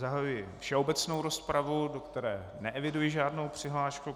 Zahajuji všeobecnou rozpravu, do které neeviduji žádnou přihlášku.